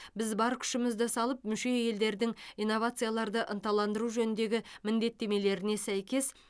біз бар күшімізді салып мүше елдердің инновацияларды ынталандыру жөніндегі міндеттемелеріне сәйкес